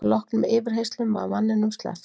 Að loknum yfirheyrslum var manninum sleppt